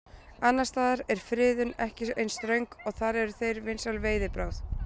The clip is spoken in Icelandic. Annars staðar er friðun ekki eins ströng og þar eru þeir vinsæl veiðibráð.